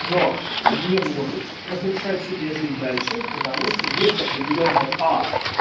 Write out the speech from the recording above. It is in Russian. но не может разрешать себе жить дальше потому что есть определённая а